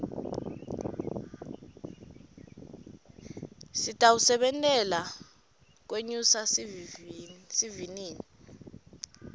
sitawusebentela kwenyusa sivinini